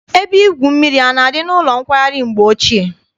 Ebe igwu mmiri na-adị n'ụlọ nkwari mgbe ochie?